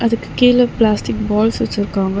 இதுக்கு கீழ plastic balls வச்சுருக்காங்க.